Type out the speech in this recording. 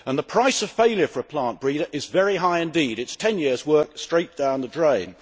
The price of failure for a plant breeder is very high indeed it is 10 years' work straight down the drain.